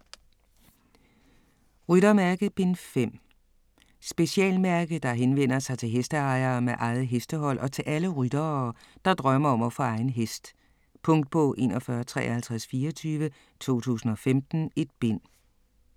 Ryttermærke: Bind 5 Specialmærke, der henvender sig til hesteejere med eget hestehold og til alle ryttere, der drømmer om at få egen hest. Punktbog 415324 2015. 1 bind.